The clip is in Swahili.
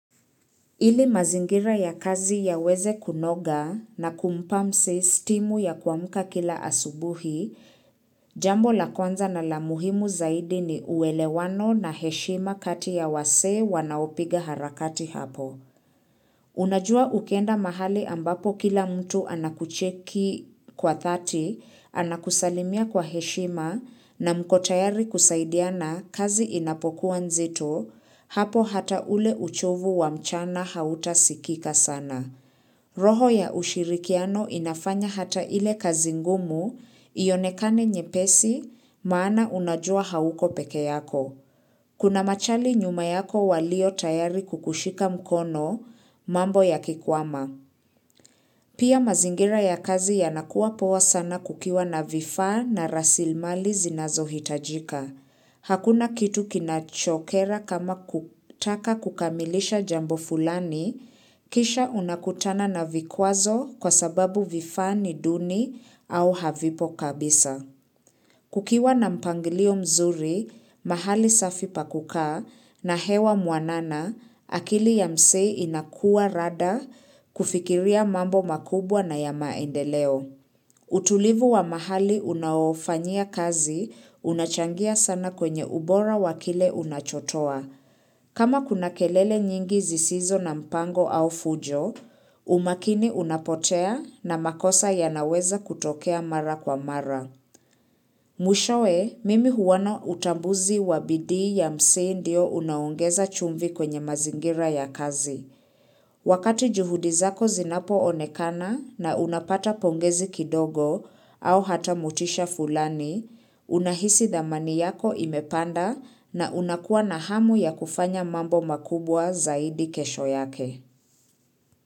Ili mazingira ya kazi yaweze kunoga na kumpa msee stimu ya kuamka kila asubuhi, jambo la kwanza na la muhimu zaidi ni uwelewano na heshima kati ya wasee wanaopiga harakati hapo. Unajua ukienda mahali ambapo kila mtu anakucheki kwa dhati, anakusalimia kwa heshima na mko tayari kusaidiana kazi inapokuwa nzito, hapo hata ule uchovu wa mchana hautasikika sana. Roho ya ushirikiano inafanya hata ile kazi ngumu ionekane nyepesi maana unajua hauko pekee yako. Kuna machali nyuma yako walio tayari kukushika mkono mambo ya kikwama. Pia mazingira ya kazi yanakuwa poa sana kukiwa na vifaa na rasilimali zinazohitajika. Hakuna kitu kinachokera kama kutaka kukamilisha jambo fulani kisha unakutana na vikwazo kwa sababu vifaa ni duni au havipo kabisa. Kukiwa na mpangilio mzuri, mahali safi pa kukaa na hewa mwanana, akili ya msee inakua rada kufikiria mambo makubwa na ya maendeleo. Utulivu wa mahali unaofanyia kazi unachangia sana kwenye ubora wa kile unachotoa. Kama kuna kelele nyingi zisizo na mpango au fujo, umakini unapotea na makosa yanaweza kutokea mara kwa mara. Mwishowe mimi huona utambuzi wa bidii ya msee ndio unaongeza chumvi kwenye mazingira ya kazi. Wakati juhudi zako zinapoonekana na unapata pongezi kidogo au hata motisha fulani, unahisi dhamani yako imepanda na unakuwa na hamu ya kufanya mambo makubwa zaidi kesho yake.